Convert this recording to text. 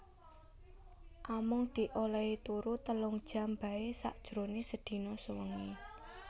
Amung di olèhi turu telung jam baé sajroné sedina sewengi